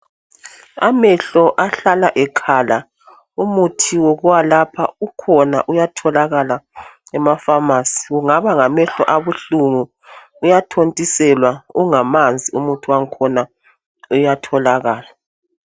Amehlo ahlala ekhala, umuthi wokuwelapha ukhona uyatholakala emafamasi kungaba ngamehlo abuhlungu uyathontiselwa ungamanzi umuthi wakhona uyatholakala.